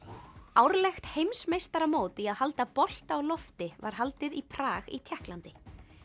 árlegt heimsmeistaramót í að halda bolta á lofti var haldið í Prag í Tékklandi